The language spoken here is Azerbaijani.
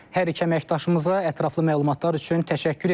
Hər iki əməkdaşımıza ətraflı məlumatlar üçün təşəkkür edirik.